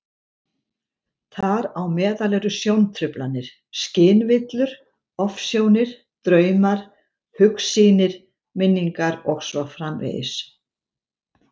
Þar á meðal eru sjóntruflanir, skynvillur, ofsjónir, draumar, hugsýnir, minningar og svo framvegis.